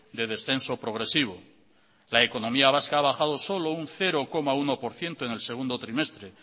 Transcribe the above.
de descenso progresivo la economía vasca ha bajado solo un cero coma uno por ciento en el segundo trimestre